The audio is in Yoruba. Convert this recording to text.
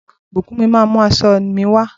Bukunmi màá mú aṣọ mi wá